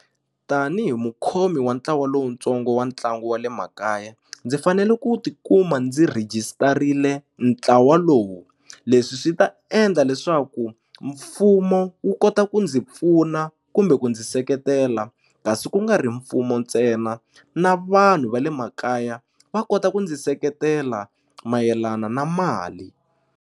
Tanihi mukhomi wa ntlawa wa lowutsongo wa ntlangu wa le makaya ndzi fanele ku tikuma ndzi register-ile ntlawa lowu leswi swi ta endla leswaku mfumo wu kota ku ndzi pfuna kha kumbe ku ndzi seketela kasi kungari mfumo ntsena na vanhu va le makaya va kota ku ndzi seketela mayelana na mali.